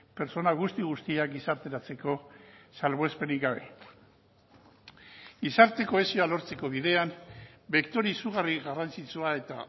pertsona guzti guztiak gizarteratzeko salbuespenik gabe gizarte kohesioa lortzeko bidean bektore izugarri garrantzitsua eta